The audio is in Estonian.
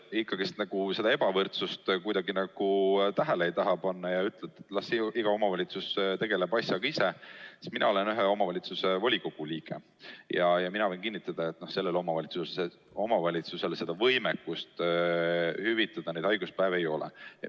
Aga kuna te nagu seda ebavõrdsust kuidagi tähele ei taha panna ja ütlete, et las iga omavalitsus tegeleb asjaga ise, siis ma märgin, et mina olen ühe omavalitsuse volikogu liige ja võin kinnitada, et sellel omavalitsusel võimekust hüvitada neid haiguspäevi ei ole.